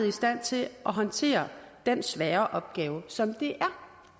i stand til at håndtere den svære opgave som det er